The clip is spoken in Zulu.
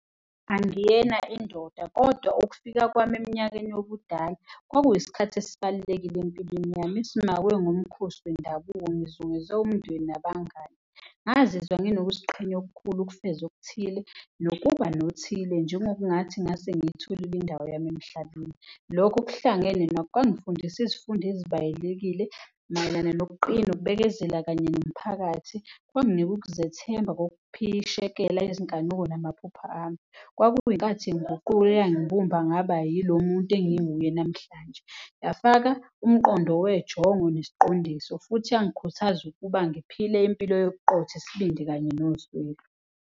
Angiyena indoda kodwa ukufika kwami eminyakeni yobudala kwakuyisikhathi esibalulekile empilweni yami, ngomkhosi wendabuko umndeni nabangani, ngazizwa nginokuziqhenya okukhulu ukufeza okuthile nokuba nothile njengokungathi ngase ngiyitholile indawo yami emhlabeni. Lokhu kuhlangene nakho kwangifundisa izifundo ezibayilekile mayelana nokuqina, ukubekezela kanye nomphakathi. Kwanginika ukuzethemba kokuphishekela izinkanuko namaphupho ami. Kwakuyikhathi ngiziguqule yimbumbe angaba yilo muntu enginguye namhlanje, yafaka umqondo wejongo nesiqondiso futhi yangikhuthaza ukuba ngiphile impilo yobuqotho, isibindi kanye nozwelo.